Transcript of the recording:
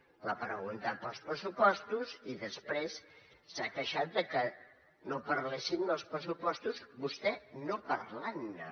m’ha preguntat pels pressupostos i després s’ha queixat de que no parléssim dels pressupostos vostè no parlant ne